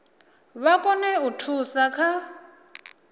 vha kone u thusa kha